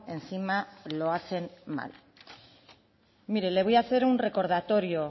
encima lo hacen mal mire le voy a hacer un recordatorio